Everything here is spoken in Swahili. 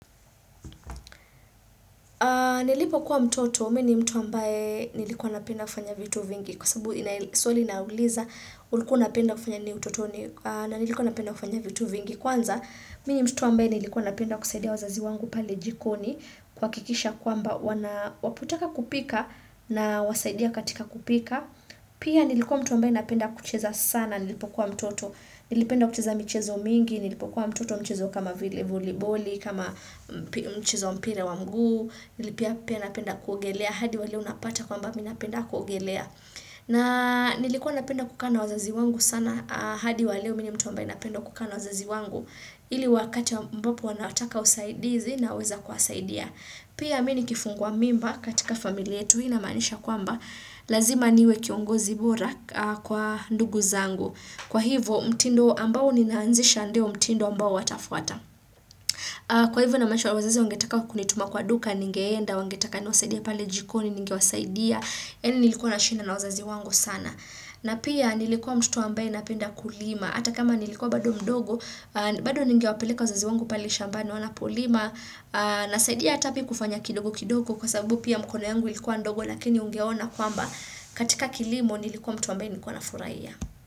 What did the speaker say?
Nilipokuwa mtoto, mi ni mtu ambaye nilikuwa napenda kufanya vitu vingi. Kwa sababu swali inauliza, ulikuwa unapenda kufanya nini utotoni? Na nilikuwa napenda kufanya vitu vingi. Kwanza, mi ni mtoto ambaye nilikuwa napenda kusaidia wazazi wangu pale jikoni, kuhakikisha kwamba wanapotaka kupika nawasaidia katika kupika. Pia nilikuwa mtu ambaye napenda kucheza sana nilipokuwa mtoto. Nilipenda kucheza michezo mingi nilipokuwa mtoto, mchezo kama vile voliboli, kama mchezo wa mpira wa mguu, Pia napenda kuogelea. Hadi wa leo unapata kwamba mi napenda kuogelea, na nilikuwa napenda kukaa na wazazi wangu sana hadi wa leo mi ni mtu ambaye napenda kukaa na wazazi wangu, ili wakati ambapo wanataka usaidizi naweza kuwasadia. Pia mi ni kifungua mimba katika familia yetu. Hii inamaanisha kwamba, lazima niwe kiongozi bora kwa ndugu zangu. Kwa hivo, mtindo ambao ninaanzisha ndio mtindo ambao watafuata. Kwa hivo namaanisha wazazi wangetaka kunituma kwa duka ningeenda, wangetaka niwasaidie pale jikoni ningewasaidia. Yaani nilikuwa nashinda na wazazi wangu sana. Na pia nilikuwa mtoto ambaye napenda kulima. Hata kama nilikuwa bado mdogo, bado ningewapeleka wazazi wangu pale shambani wanapolima Nasaidia hata mi kufanya kidogo kidogo kwa sababu pia mkono yangu ilikuwa ndogo lakini ungeona kwamba katika kilimo nilikuwa mtu ambaye nilikuwa nafurahia.